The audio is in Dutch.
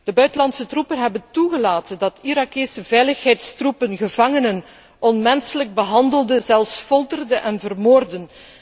De buitenlandse troepen hebben toegelaten dat Iraakse veiligheidstroepen gevangenen onmenselijk behandelden, zelfs folterden en vermoordden.